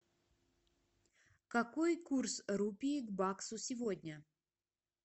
какой курс рупии к баксу сегодня